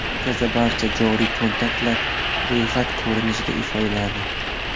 Markazda barcha joriy kontaktlar ro‘yxat ko‘rinishida ifodalanadi.